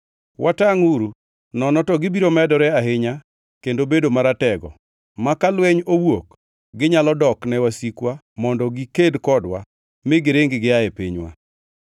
Watangʼuru, nono to gibiro medore ahinya kendo bedo maratego, ma ka lweny owuok ginyalo dok ne wasikwa mondo giked kodwa, mi giring gia e pinywa.”